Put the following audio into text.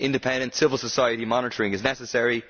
Independent civil society monitoring is necessary.